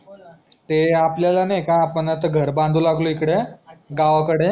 ते आपल्याला नाही का आपण आता घर बंदु लागलो इकड गावाकडे